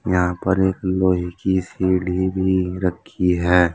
यहां पर एक लोहे की सीढ़ी भी रखी है।